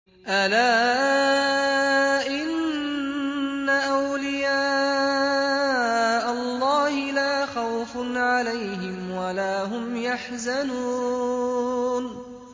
أَلَا إِنَّ أَوْلِيَاءَ اللَّهِ لَا خَوْفٌ عَلَيْهِمْ وَلَا هُمْ يَحْزَنُونَ